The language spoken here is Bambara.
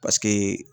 Paseke